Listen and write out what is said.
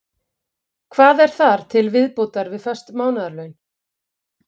Hvað er þar til viðbótar við föst mánaðarlaun?